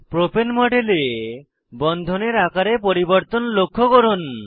propane মডেলে বন্ধনের আকারে পরিবর্তন লক্ষ্য করুন